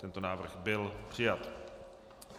Tento návrh byl přijat.